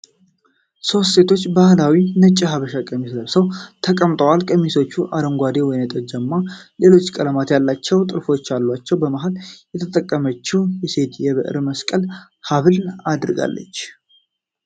ሦስት ሴቶች ባህላዊ ነጭ የሐበሻ ቀሚስ ለብሰው ተቀምጠዋል። ቀሚሶቹ አረንጓዴ፣ ወይንጠጃማና ሌሎች ቀለማት ያሏቸው ጥልፎች አሏቸው። መሃል የተቀመጠችው ሴት የብር መስቀል ሐብል አድርጋለች።